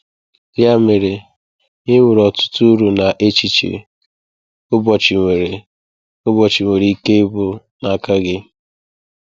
Ya mere, ị nwere ọtụtụ uru na echiche ụbọchị nwere ụbọchị nwere ike ịbụ n’aka gị.